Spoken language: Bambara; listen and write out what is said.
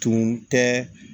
Tun tɛ